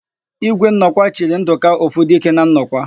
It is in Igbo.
Ígwé Nnọkwa chiri Ndụka, Ofudike na Nnọkwa.